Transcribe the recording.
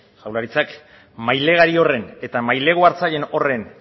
jaurlaritzak mailegulari horren eta mailegu hartzaileen horren